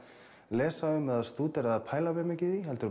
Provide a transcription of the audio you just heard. lesa um eða stúdera eða pæla mikið í heldur